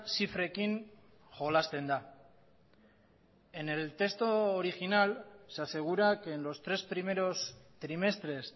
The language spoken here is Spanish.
zifrekin jolasten da en el texto original se asegura que en los tres primeros trimestres